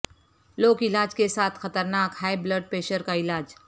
لوک علاج کے ساتھ خطرناک ہائی بلڈ پریشر کا علاج